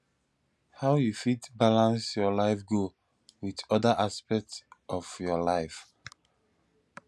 how you fit balance your life goal with oda aspects of your life